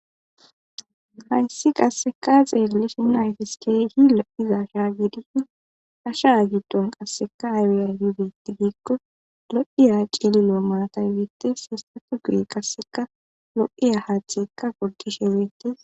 Hayssi qasseka xeerlishi n ayfiskey hi lo7iza sha giidi asha agiton qasseka aariya hibetti giikko lo7iya ciili loo maatay weete sistatu gu qasseka lo7iya haatheekka godishe weetees